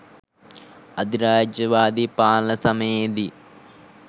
අධිරාජ්‍යවාදී පාලන සමයේදී